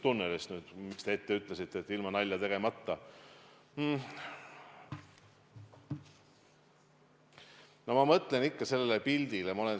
Vaevalt, et me nüüd homme hakkame seda tunnelit kaevama, aga tegutseme selle eesmärgiga, et ühel hetkel seda hakatakse kaevama.